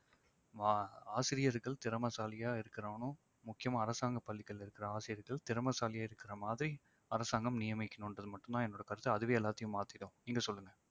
ஆஹ் ஆசிரியர்கள் திறமைசாலியா இருக்கணும்னும் முக்கியமா அரசாங்க பள்ளிகள்ல இருக்கிற ஆசிரியர்கள் திறமைசாலியா இருக்கிற மாதிரி அரசாங்கம் நியமிக்கணும்ன்றது மட்டும் தான் என்னுடைய கருத்து அதுவே எல்லாத்தையும் மாத்திடும். நீங்க சொல்லுங்க